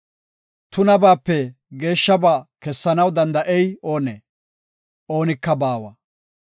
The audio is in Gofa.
Tunabaape geeshshaba kessanaw danda7ey oonee? Oonika baawa.